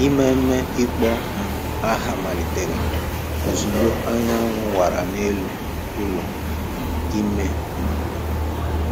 Ememe ịkpọ um aha malitere ozugbo anyanwụ wara n’elu ụlọ ime um obodo.